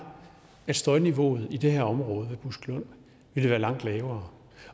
at støjniveauet i det her område ved buskelund ville være langt lavere